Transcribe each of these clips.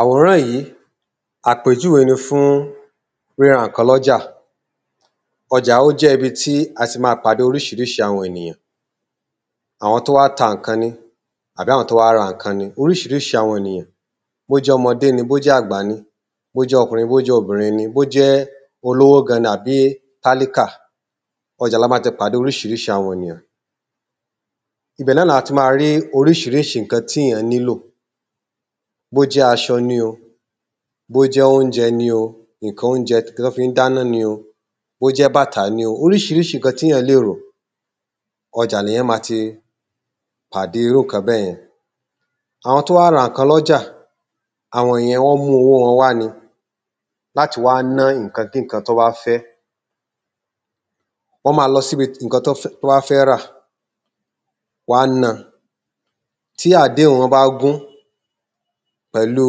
Àwòrán yìí àpéjúwe ni fún ǹkan kọjá, ọjà ó jẹ́ ibi tí oríṣiríṣi àwọn ènìyàn, àwọn tó wá ta ǹkan ni, àbí àwọn tó wá ra ǹkan ni oríṣiríṣi àwọn ènìyàn bó jẹ́ ọmọdé ni bó jẹ́ àgbà ni, bó jẹ ọkùnrin bó jẹ́ obìrin, bó jẹ́ olówó àbí tálíkà ọjà la máa ti pàde oríṣiríṣi àwọn ènìyàn ibẹ̀ náà ni ati máa rí oríṣiríṣi ǹkán tí èyàn nílò bó jẹ́ aṣọ ni o, bó jẹ́ oúnjẹ ni o, ǹkan oúnjẹ tí wọ́n fi ń dáná, bó jẹ́ bàtà ni o. Oríṣiríṣi ǹkan tí èyàn lè ro ọjà lèyàn ti máa pàde irú ǹkan bẹ́ẹ̀ yẹn Àwọn tọ́ wá rá ǹkan lọ́jà àwọn ìyẹn wọ́n mú owó wọn wa ni láti wá ná ǹkan kíǹkan tí wọ́n bá fẹ́. Wọ́n máa lọ síbi ǹkan tí wọ́n fẹ́ rà, wọn a náa tí àdéhùn wọ́n bá gún pẹ̀lú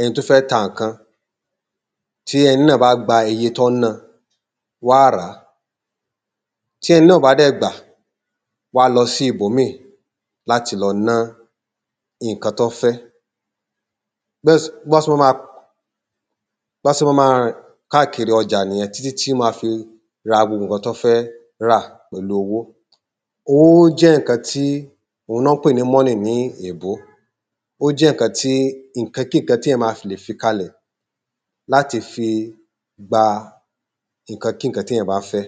ẹni tó fẹ́ ta ǹkan tí ẹni náà bá gba iye tí wọ́n ń ná wọn á ràá tí ẹni náà ò bá dẹ̀ gbà wọn á lọ síbòmíì láti lọ ná ǹkan tí wọ́n fẹ́ Bọ́ ṣe máa máa rìn káàkiri ọjà ní títí wọ́n máa fi ra gbogbo ǹkan tí wọ́n fẹ́ rà pẹ̀lu owó owó jẹ́ ǹkan tí òun ni wọ́n ń pè ní money ní èèbó ó jẹ́ ǹkan-kí-ǹkan tí èyàn máa lè fi kalẹ̀ láti fi gba ǹkan-kí-ǹkan tí èyàn bá fẹ́